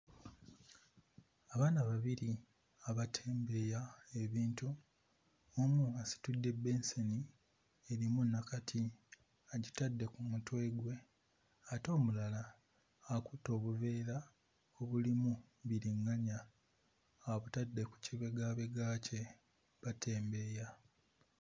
Abaana babiri abatembeeya ebintu, omu asitudde benseni erimu nakati agitadde ku mutwe gwe, ate omulala akutte obuveera obulimu biriŋŋanya abutadde ku kibegaabega kye batembeeya.